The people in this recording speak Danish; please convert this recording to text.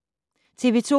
TV 2